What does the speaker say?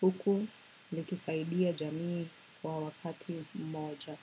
huku likisaidia jamii kwa wakati moja.